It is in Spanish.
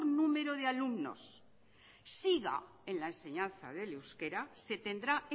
número de alumnos siga en la enseñanza del euskera se tendrá